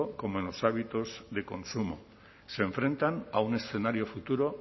como en los hábitos de consumo se enfrentan a un escenario futuro